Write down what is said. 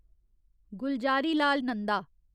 Gulzarilal Nanda